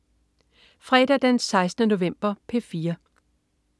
Fredag den 16. november - P4: